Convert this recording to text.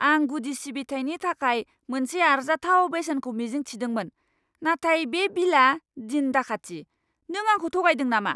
आं गुदि सिबिथाइनि थाखाय मोनसे आरजाथाव बेसेनखौ मिजिं थिदोंमोन, नाथाय बे बिलआ दिन दाखाथि! नों आंखौ थगायदों नामा?